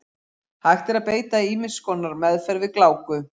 Hægt er að beita ýmiss konar meðferð við gláku.